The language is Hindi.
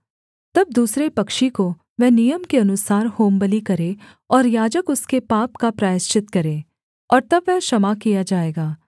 तब दूसरे पक्षी को वह नियम के अनुसार होमबलि करे और याजक उसके पाप का प्रायश्चित करे और तब वह क्षमा किया जाएगा